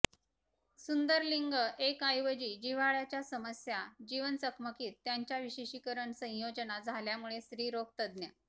सुंदर लिंग एक ऐवजी जिव्हाळ्याचा समस्या जीवन चकमकीत त्यांच्या विशेषीकरण संयोजना झाल्यामुळे स्त्रीरोग तज्ञ